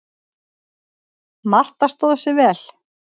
Marta stóð sig vel.